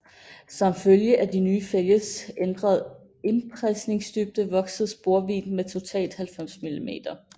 Som følge af de nye fælges ændrede indpresningsdybde voksede sporvidden med totalt 90 mm